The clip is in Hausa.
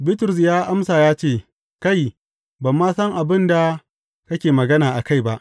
Bitrus ya amsa ya ce, Kai, ban ma san abin da kake magana a kai ba!